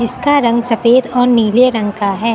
उसका रंग सफेद और नीले रंग का है।